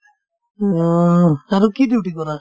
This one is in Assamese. অ, আৰু কি duty কৰা ?